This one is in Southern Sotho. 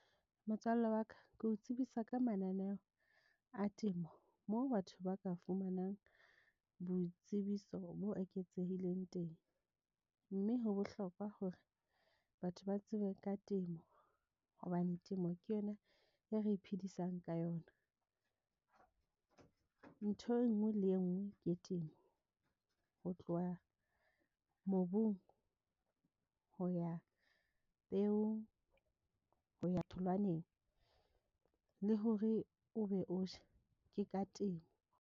Motswalle wa ka ke o tsebisa ka mananeo a temo moo batho ba ka fumanang boitsebiso bo eketsehileng teng, mme ho bohlokwa hore batho ba tsebe ka temo hobane temo ke yona e re iphedisang ka yona. Ntho enngwe le enngwe ke temo ho tloha mobung ho ya peo, ho ya tholwaneng le hore o be o je? Ke ka temo.